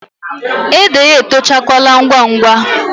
Ede ya etochala ngwa ngwa.